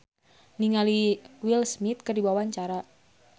Choky Sitohang olohok ningali Will Smith keur diwawancara